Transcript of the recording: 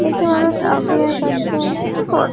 একটি মানুষ আগুনের কাছে কি কর --